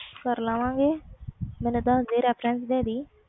ਕਰ ਲਾਵਾ ਗਏ ਯਾਰ reference ਦੇ ਦੀ ਤੂੰ